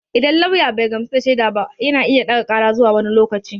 Idan lauya bai gamsu da shaida ba yana iya ɗaga ƙara zuwa wani lokaci.